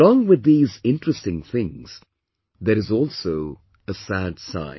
But along with these interesting things, there is also a sad side